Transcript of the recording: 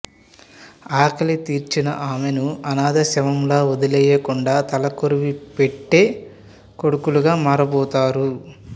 ఆకలి తీర్చిన ఆమెను అనాథ శవంలా వదిలేయకుండా తలకొరివి పెట్టే కొడుకులుగా మారబోతారు